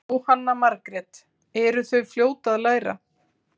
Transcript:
Jóhanna Margrét: Eru þau fljót að læra?